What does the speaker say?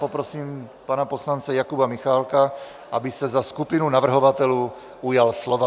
Poprosím pana poslance Jakuba Michálka, aby se za skupinu navrhovatelů ujal slova.